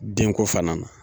Denko fana na